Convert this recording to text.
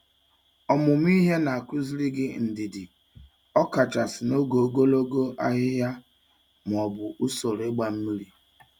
Ọmụmụ ihe na-akụziri gị ndidi, ọkachasị n'oge ogologo ahihia ma ọ bụ usoro ịgba mmiri.